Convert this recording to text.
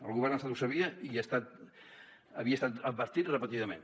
el govern de l’estat ho sabia i havia estat advertit repetidament